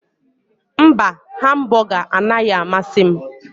Mba hambụga anaghị amasị m.